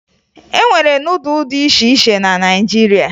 E nwere nudụ dị iche iche na Naịjirịa